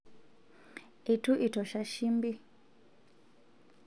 eitu itosha shimbi